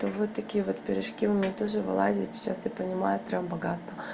вот такие вот пирожки у меня тоже вылазят сейчас я понимаю прямо богатство